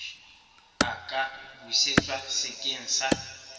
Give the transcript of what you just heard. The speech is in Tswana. a ka busetswa sekeng sa